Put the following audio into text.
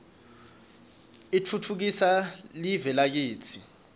utfutfukisa live lakitsi